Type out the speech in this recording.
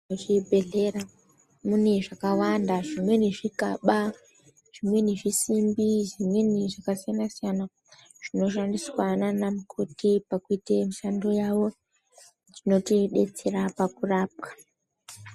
Muchibhedhlera mune zvakwanda. Zvimweni zvikaba ,zvimweni isimbi ,zvimweni zvakasiyana-siyana zvinoshandiswa ndiana mukoti pakuita mishando yawo. Zvinotidetsera pakurapwa.